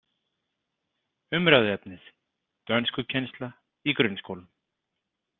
Umræðuefnið: dönskukennsla í grunnskólum.